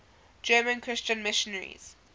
german christian missionaries